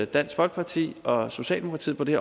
dansk folkeparti og socialdemokratiet på det